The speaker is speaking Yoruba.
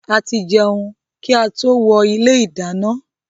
A ti jẹun kí a tó wọ ilé ìdáná